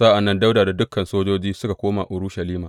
Sa’an nan Dawuda da dukan sojoji suka koma Urushalima.